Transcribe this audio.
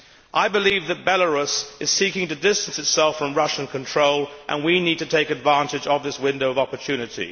I believe that Belarus is seeking to distance itself from Russian control and we need to take advantage of this window of opportunity.